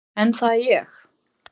En það er ég.